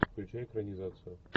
включай экранизацию